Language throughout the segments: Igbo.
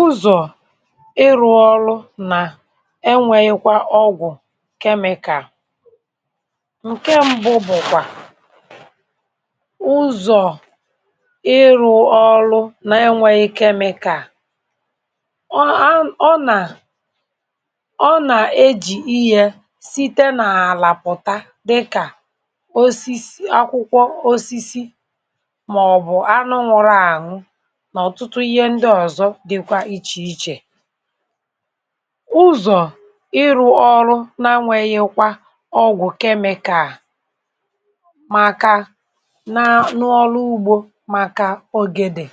ụzọ̀ ịrụ̇ ọrụ nà enwėghi̇kwa ọgwụ̀ chemical. Ǹke mbụ bụ̀kwà ụzọ̀ ịrụ̇ ọrụ nà enwėghi̇ chemical ọ a ọ nà ọ nà-ejì ihė site nà-àlàpụ̀ta dịkà osisi akwụkwọ osisi màọ̀bụ̀ anụ wụ̀rụ̀ ànụ na otutú ihe ndi òzọ dịkwa ichè ichè. Ụzọ̀ ịrụ̇ ọrụ n’anwėghi̇kwa ọgwụ̀ chemical màkà nà n’ọlụ ugbȯ màkà ogè dị̀.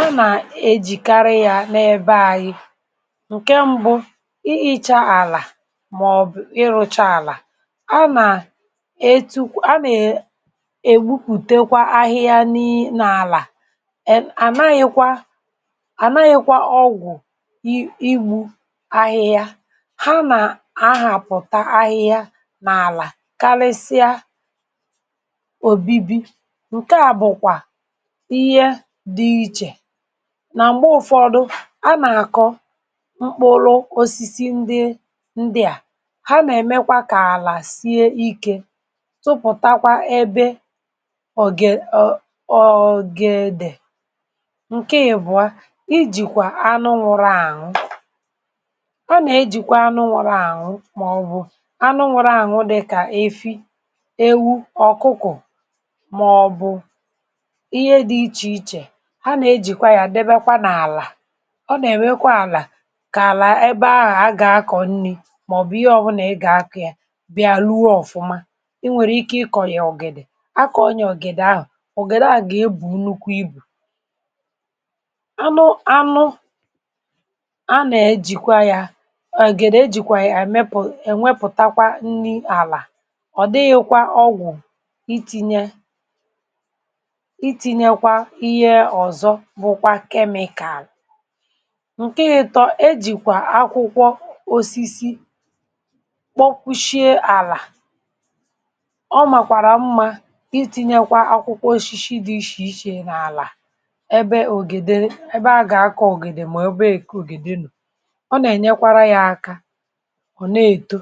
a nà-ejìkarị yȧ n’ebe ȧyị̇. Ǹkè mbụ ị ịcha àlà mà ọ̀ bụ̀ ịrụ̇cha àlà a. A nà- etukwa a I'll nà-ewukwùtekwa ahịhịa n’àlà, iwu̇ ahịhịa, ha nà ahàpụ̀ta ahịhịa, n’àlà karịsịa òbibi ǹke àbụ̀kwà ihe dị̇ ichè nà m̀gbe ụ̀fọdụ a nà-àkọ mkpụrụ osisi ndị ndịà, ha nà-èmekwa kà àlà sie ikė tupùtakwa ebe Nke ebuó, ijìkwà anụnwụrụ àwụ. Anà-ejìkwa anụnwụrụ àwụ màọbụ anụnwụrụ àwụ dị̀ kà efi, ewu, ọ̀kụkụ̀ màọbụ ihe dị̇ ichè ichè anà-ejìkwa ya ǹdebekwa nà àlà. Ọ nà-èmekwa àlà kà àlà ebe ahụ̀ a gà-akọ̀ nni màọbụ̀ ihe ọ̀bụnà a gà-akọ̀ ya bịa ruo ọ̀fụma i nwèrè ike ịkọ̀ ya ọ̀gedè, akọ̀ ya ọ̀gedè ahụ̀, ọ̀gedè ahu gà-ebù nukwu ibu̇. Anụ anụ a nà-èjìkwa ya àgèrè ejìkwa ya èmepù ènwepùtakwa nri àlà ọ̀ dịghị̇kwa ọgwụ̀ iti̇nyė itinyekwa ihe ọ̀zọ bụ̇kwa kemìkaàlụ̀. Ǹkè-ị̇tọ, ejìkwà akwụkwọ osisi kpọkwuchìe àlà. Ọ màkwàrà mmȧ itinyekwa akwụkwọ oshishi dị ishìishè n’àlà ẹbẹ a gà-akọ̀ ògédè mà ẹbẹ èko ògédè nà ọ nà-ẹnyẹkwara yȧ aka ọ̀ na-èto,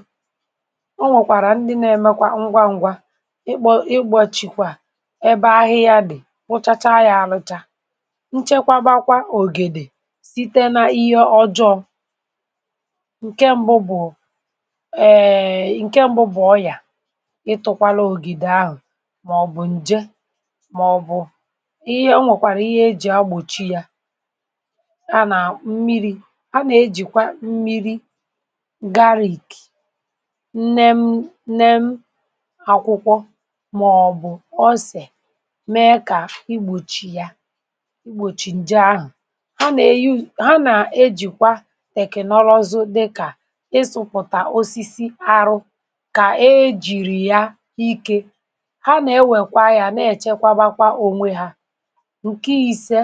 ọ nwẹ̀kwàrà ndị na-ẹmẹkwa ngwa ngwa ị kpọ̇ ị gbọchịkwa ẹbẹ ahịa yȧ dị̀ wụchacha yȧ alụcha nchekwabakwa ògèdè site nà ihe ọjọọ. Ǹkẹ mbụ bụ̀ ẹ̀ẹ̀ ǹkẹ mbụ bụ̀ ọyà ịtụ̇kwala ògédè ahụ̀ mà ọ̀ bụ̀ ǹje mà ọ̀ bụ̀ ihe ọ nwèkwàrà ihe ejì agbòchi yȧ, a nà mmiri̇ a nà-ejìkwa mmiri̇ garrik nnem nem akwụkwọ màọbụ̀ ọsè mee kà igbòchi yȧ, igbòchi ǹje ahụ̀. Ha nà-eyu ha nà-ejìkwa tèkìnọ̀rọ̀ ọzọ dịkà ịsụ̇pụ̀tà osisi arụ kà ejìrì ya ike ha nà-ewèkwa ya nà-èchekwabakwa ònwe ha. Ǹke ise,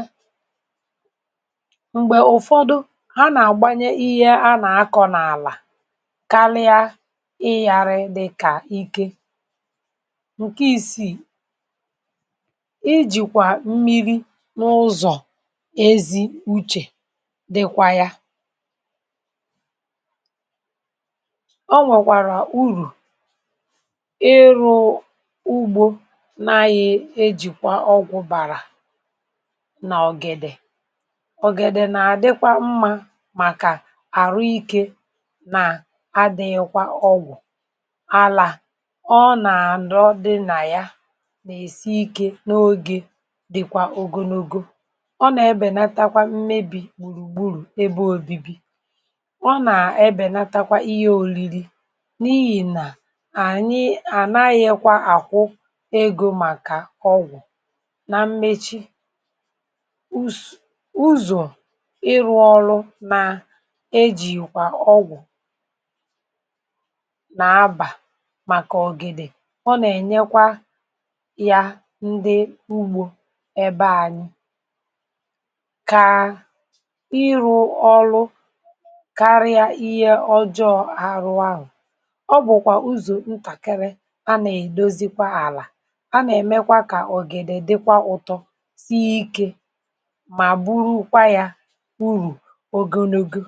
m̀gbè ụ̀fọdụ ha nà-àgbanye ihe a nà-akọ̇ n’àlà karịa ịyàrị dịkà ike. Ǹkè isiì i jìkwà mmiri̇ n’ụzọ̀ ezi uchè dịkwa ya. O nwèkwàrà urù ịrụ̇ ugbȯ n’ahịa e jìkwà ọgwụ̀ bàrà nà ọ̀gèdè màkà àrụ ikė nà adị̇nyekwa ọgwụ̀ àlà ọ nàrọ di nà ya nà-èsi ikė n’ogė dị̀kwà ògònogo ọ nà-ebènatakwa mmebì gbùrùgburù ebe òbibi ọ nà-ebènatakwa ihe òriri n’ihì nà ànyị ànaghị̇kwa àkwụ egȯ màkà ọgwụ̀ ọ bụ̀kwà uzò ntàkiri a nà-èdozikwa àlà a nà-èmekwa kà ọ̀gìdè dịkwa ụtọ sie ikė ogologo.